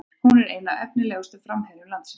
Hún er einn efnilegasti framherji landsins